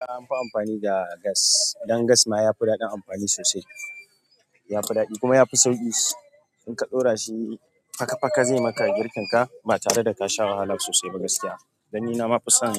Na amfani da gas, dan gas ma ya fi daɗin amfani sosai. Ya fi daɗi kuma ya fi sauƙi. In ka ɗora shi faka faka, zai maka girkin ka ba tare da ka sha wahala sosai ba gaskiya. Dan ni na ma fi son